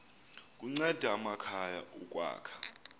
kunceda amakhaya ukwakha